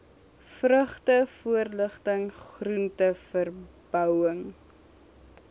vrugte voorligting groenteverbouing